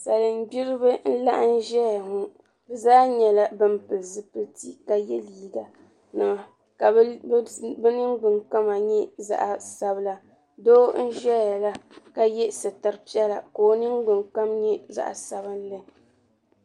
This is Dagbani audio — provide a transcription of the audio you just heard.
Salin gbiriba n laɣim ʒɛya ŋɔ bɛ zaa nyɛla ban pili zipilti ka ye liiga ka bɛ ningbin kama nyɛ zaɣa sabla doo n ʒɛya la ka ye suturi piɛla ka o ningbin kom nyɛ zaɣa sabinli.